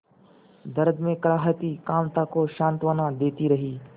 दर्द में कराहती कांता को सांत्वना देती रही